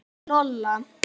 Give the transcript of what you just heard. Og Lola.